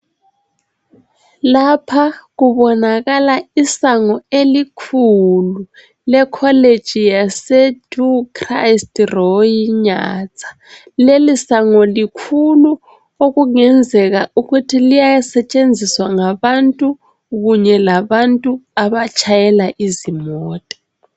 Lapha kubonakala isango elikhulu lecollege yase Du Christ-Roy Nyanza. Leli sango likhulu okungenzeka ukuthi liyasetshenziswa ngabantu kunye labantu abatshayela izimota